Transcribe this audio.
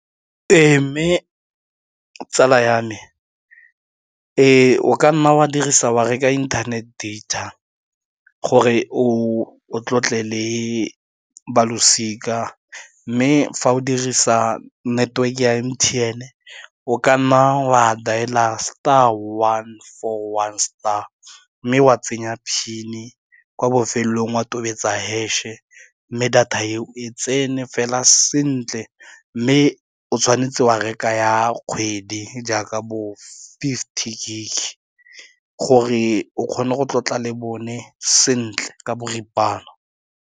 Ee, mme tsala ya me, o ka nna wa dirisa wa reka internet data gore o tlotle le balosika mme fa o dirisa network-e ya M_T_N o ka nna wa dailer star one four one star mme wa tsenya PIN-e kwa bofelelong wa tobetsa hash-e mme data e o e tsene fela sentle mme o tshwanetse wa reka ya kgwedi jaaka bo-fifty gig gore o kgone go tlotla le bone sentle ka boripana.